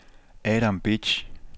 Adam Bitsch